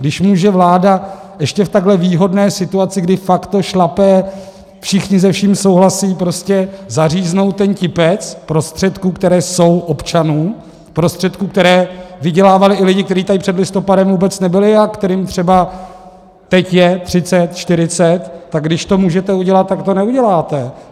Když může vláda ještě v takhle výhodné situaci, kdy fakt to šlape, všichni se vším souhlasí, prostě zaříznout ten tipec prostředků, které jsou občanů, prostředků, které vydělávali i lidi, kteří tady před listopadem vůbec nebyli a kterým třeba teď je 30, 40, tak když to můžete udělat, tak to neuděláte.